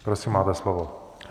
Prosím, máte slovo.